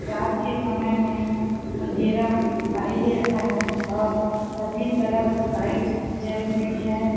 रात के समय में अँधेरा दिखाई दे रहा है और सभी तरफ लाइट जल रही हैं।